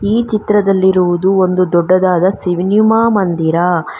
ಈ ಚಿತ್ರದಲ್ಲಿರುವುದು ಒಂದು ದೊಡ್ಡದಾದ ಸಿನಿಮಾ ಮಂದಿರ.